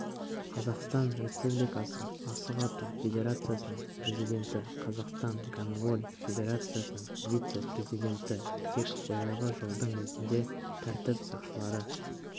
қазақстан республикасы асық ату федерациясының президенті қазақстан гандболь федерациясының вице-президенті тек билығы жылдың өзінде тәртіп сақшылары